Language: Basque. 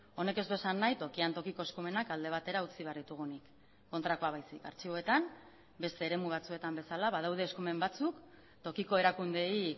honek ez du esan nahi tokian tokiko eskumenak alde batera utzi behar ditugunik kontrakoa baizik artxiboetan beste eremu batzuetan bezala badaude eskumen batzuk tokiko erakundeei